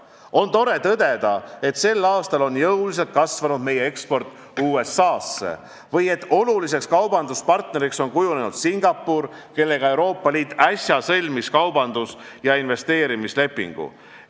On tore tõdeda, et sel aastal on jõuliselt kasvanud meie eksport USA-sse ning et oluliseks kaubanduspartneriks on kujunenud Singapur, kellega Euroopa Liit äsja sõlmis kaubandus- ja investeerimislepingu.